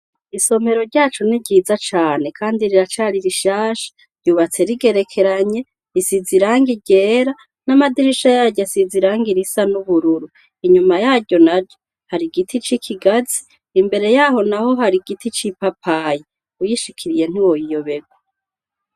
Isomero ryacu ni ryiza cane kandi riracari rishasha ryubatse rigerekeranye risize irangi ryera n’amadirisha asize irangi risa n’ubururu inyuma yaryo naryo hari igiti c’ikigazi imbere yaryo naho hari igiti c’ipapayi urishikiriye ntiworiyoberwa.